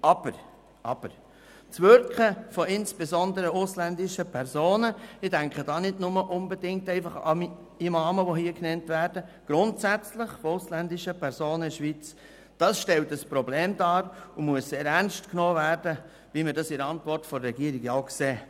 Aber, aber: Das Wirken von insbesondere ausländischen Personen – ich denke dabei nicht einfach unbedingt an Imame, sondern grundsätzlich an ausländische Personen in der Schweiz – stellt ein Problem dar und muss sehr ernst genommen werden, wie wir das in der Antwort der Regierung auch sehen.